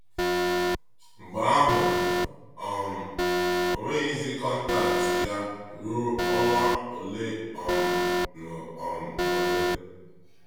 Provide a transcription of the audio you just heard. Mgbe ahụ, um ọ nweghịzi kọntaktị ya ruo ọnwa ole um na um ole.